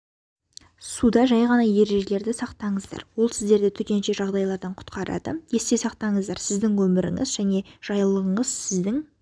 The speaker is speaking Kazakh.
суда жайғана ережелерді сақтаңыздар ол сіздерді төтенше жағдайлардан құтқарады есте сақтаныздар сіздің өміріңіз және жайлылығыңыз сіздің